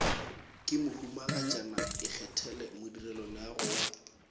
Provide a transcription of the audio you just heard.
ke mohumagatšana ikgethele modirelaleago wa